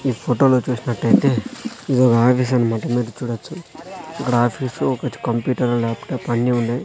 ఈ ఫోటో లో చూసినట్టైతే ఇది ఒక ఆఫీసు అన్నమాట మీరు చూడచ్చు ఇక్కడ ఆఫీసు ఒకటి కంప్యూటర్ ల్యాప్ టాప్ అన్నీ ఉన్నాయ్.